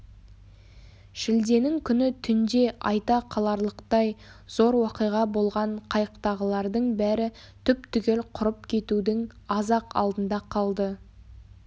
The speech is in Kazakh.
шілденің күні түнде айта қаларлықтай зор уақиға болған қайықтағылардың бәрі түп-түгел құрып кетудің аз-ақ алдында қалды